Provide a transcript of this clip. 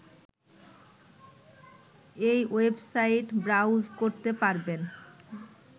এই website browse করতে পারবেন